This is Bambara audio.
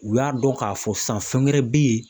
U y'a dɔn k'a fɔ san fɛn gɛrɛ bɛ yen